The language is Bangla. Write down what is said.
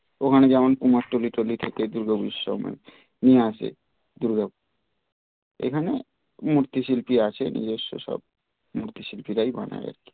ওখানে যেমন কুমারটুলি টুলি থেকে দুর্গাপুজোর সময় নিয়ে আসে দূর্গা এখানে মূর্তি শিল্পী আছে নিজস্ব সব মূর্তি শিল্পীরাই বানায়